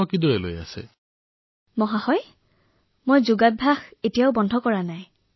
মহোদয় প্ৰথম কথাটো হল মই যোগাভ্যাস বন্ধ কৰা নাই